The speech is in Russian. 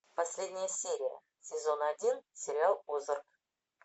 последяя серия сезона один сериал озарк